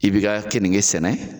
I bɛ ka kɛge sɛnɛ.